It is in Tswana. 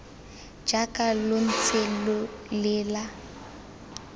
jaaka lo ntse lo lela